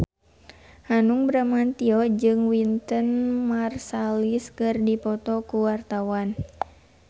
Hanung Bramantyo jeung Wynton Marsalis keur dipoto ku wartawan